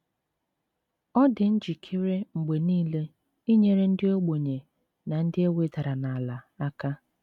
Ọ dị njikere mgbe nile inyere ndị ogbenye na ndị e wedara n’ala aka.